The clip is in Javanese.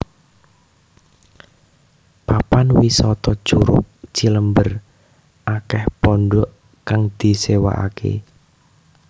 Papan wisata Curug Cilember akeh pondhok kang disewaaké